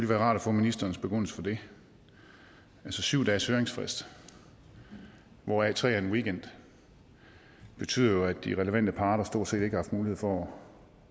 være rart at få ministerens begrundelse for det altså syv dages høringsfrist hvoraf tre dage er en weekend betyder jo at de relevante parter stort set ikke har haft mulighed for